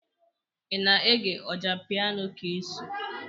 Ị na-ege Ọjapiano Kcee.